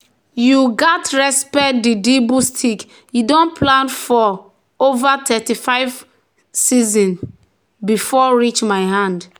"you gats respect di dibble stick—e don plant for don plant for over thirty-five season before reach my hand."